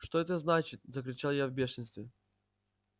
что это значит закричал я в бешенстве